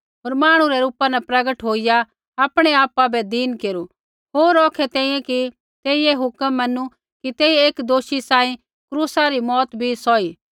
होर मांहणु रै रूपा न प्रगट होईया आपणै आपा बै दीन केरू होर औखै तैंईंयैं कि तेइयै हुक्म मैनू कि तेइयै एक दोषी सांही क्रूसा री मौत भी सौही